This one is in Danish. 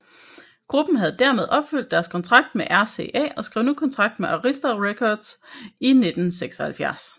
Gruppen havde dermed opfyldt deres kontrakt med RCA og skrev nu kontrakt med Arista Records i 1976